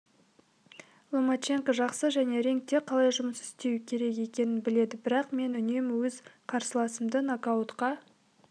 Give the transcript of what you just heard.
ломаченко жақсы және рингте қалай жұмыс істеу керек екенін біледі бірақ мен үнемі өз қарсыласымды нокаутқа